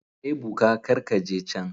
Ebuka kar ka je can.